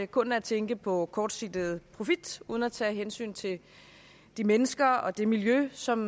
kun at tænke på kortsigtet profit uden at tage hensyn til de mennesker og det miljø som